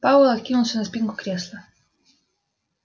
пауэлл откинулся на спинку кресла